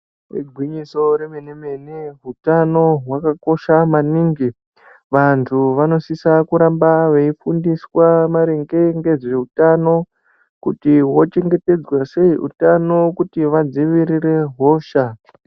Igwinyiso remene mene utano hwakakosha manhingi. Vantu vanosisa kuramba veifundiswa maringe ngezveutano kuti hochengetedzwa sei utano kuti vadziirire hosha.